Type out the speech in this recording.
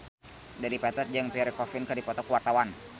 Dedi Petet jeung Pierre Coffin keur dipoto ku wartawan